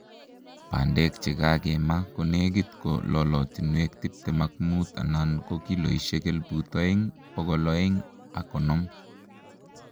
Bandek che kakema konekit ko lolotinwek tiptem ak muut anan kiloishek elebu oeng ,bokol oeng ak konom